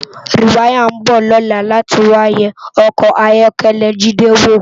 Riwàyá n bò lòlá làtí wá yè òkò áyòkèlè Jide wó